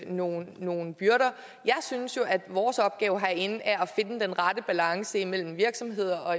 nogle nogle byrder jeg synes at vores opgave herinde er at finde den rette balance imellem virksomhederne og